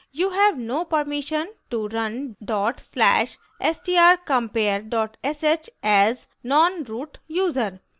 you have no permission to run dot slash strcompare dot sh as nonroot user